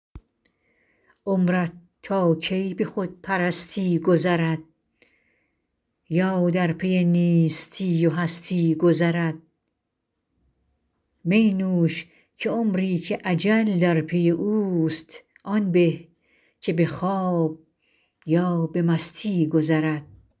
عمرت تا کی به خودپرستی گذرد یا در پی نیستی و هستی گذرد می نوش که عمری که اجل در پی اوست آن به که به خواب یا به مستی گذرد